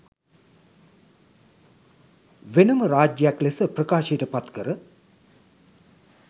වෙනම රාජ්‍යයක් ලෙස ප්‍රකාශයට පත් කර